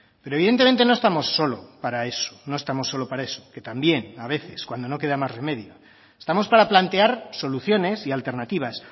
pero evidentemente no estamos solo para eso no estamos solo para eso que también a veces cuando no queda más remedio estamos para plantear soluciones y alternativas